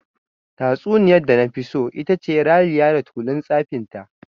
Tatsuniyar da nafi so itace "Raliya da tulun tsafinta".